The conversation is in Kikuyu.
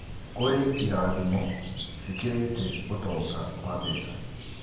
Kũrĩ irathimo cikĩrĩte ũtonga wa mbeca